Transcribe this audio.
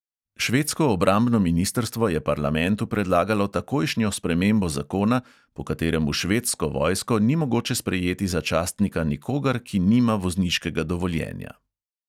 Švedsko obrambno ministrstvo je parlamentu predlagalo takojšnjo spremembo zakona, po katerem v švedsko vojsko ni mogoče sprejeti za častnika nikogar, ki nima vozniškega dovoljenja.